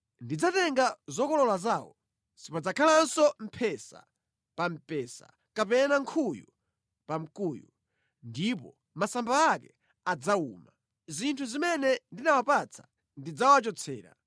“ ‘Ndidzatenga zokolola zawo, Sipadzakhalanso mphesa pa mpesa kapena nkhuyu pa mkuyu, ndipo masamba ake adzawuma. Zinthu zimene ndinawapatsa ndidzawachotsera.’ ”